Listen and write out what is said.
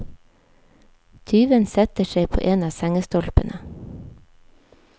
Tyven setter seg på en av sengestolpene.